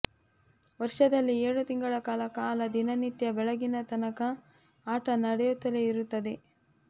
ವರ್ಷದಲ್ಲಿ ಏಳು ತಿಂಗಳಕಾಲ ದಿನ ನಿತ್ಯ ಬೆಳಗಿನ ತನಕ ಆಟ ನಡೆಯುತ್ತಲೇ ಇರುತ್ತದೆ